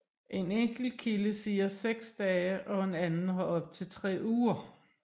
En enkelte kilde siger 6 dage og en anden har op til 3 uger